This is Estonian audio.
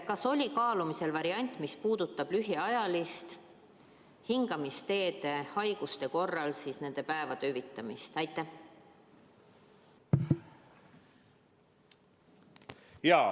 Kas oli kaalumisel variant, mis puudutab lühiajaliselt hingamisteede haiguste korral nende päevade enamat hüvitamist?